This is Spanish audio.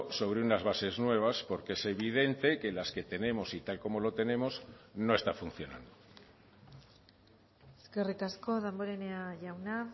sobre unas bases nuevas porque es evidente que las que tenemos y tal como lo tenemos no está funcionando eskerrik asko damborenea jauna